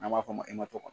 N'a b'a fɔ o ma ko